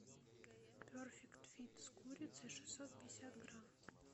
перфект фит с курицей шестьсот пятьдесят грамм